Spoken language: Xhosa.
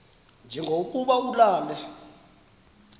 nje lokuba ulale